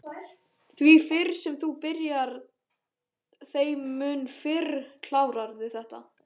Því fyrr sem þú byrjar þeim mun fyrr klárarðu þetta